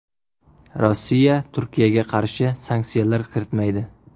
Rossiya Turkiyaga qarshi sanksiyalar kiritmaydi.